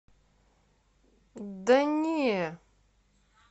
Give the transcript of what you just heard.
да не